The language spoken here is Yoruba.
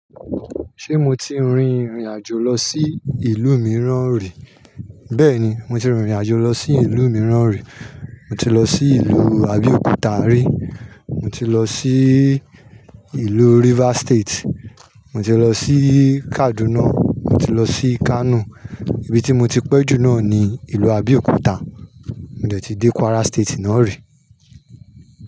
Ṣé mo ti rin ìrìn àjò lọ sí ìlú mìíràn rí? Bẹ́ẹ̀ni, mo ti rin ìrìn àjò lọ sí ìlú mìíràn rí. Mo ti lọ sí ìlú Abéòkúta rí, mo ti lọ sí ìlú River State, mo ti lọ sí Kaduna, mo ti lọ sí Kano. Ibi tí mo ti pẹ́ jù náà ni ìlú Abéòkúta, mo dẹ̀ ti dé Kwara State náà rí.